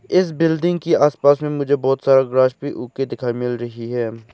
इस बिल्डिंग के आसपास में मुझे बहोत सारा ग्रास भी उग के दिखाई मिल रही है।